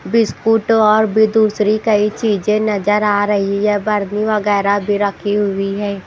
Biscuit और भी दूसरी कई चीजे नजर आ रही है बर्नी वगैरा भी रखी हुई है।